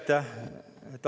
Aitäh!